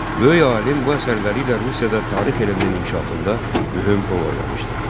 Böyük alim bu əsərləri ilə Rusiyada tarix elminin inkişafında mühüm rol oynamışdı.